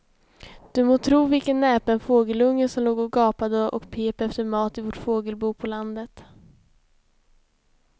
Du må tro vilken näpen fågelunge som låg och gapade och pep efter mat i vårt fågelbo på landet.